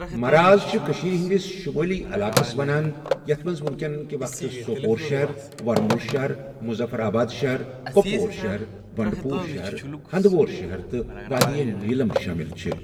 مَراز چھِ کٔشیٖرِ ہٕندس شُمٲلۍ علاقس ونان یتھ منٛز وٕنۍ کٮ۪ن کہ وقتک سوپورشہر، وَرمُل شہر، مُظفرآباد شہر، کٚۄپوور شَہر، بنڈٕ پُور شہر، ہنٛدٕوورشہر تہ وادییہ نیلم شٲمِل چھِـ